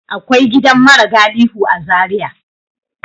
Akwai gidan mara galihu a Zaria.